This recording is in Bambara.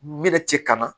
Me na cɛ kana